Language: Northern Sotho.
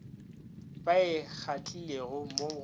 ba e kgathilego mo go